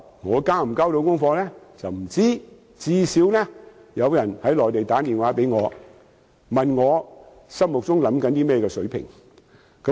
我能否交到功課是未知之數，但最低限度有內地人士致電問我心目中的月票優惠水平。